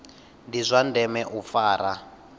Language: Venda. ndi zwa ndeme u fara